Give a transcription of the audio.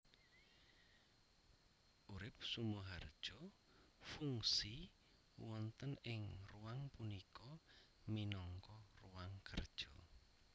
Urip SumoharjoFungsi wonten ing ruang punika minangka ruang kerja